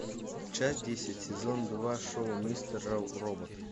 часть десять сезон два шоу мистер робот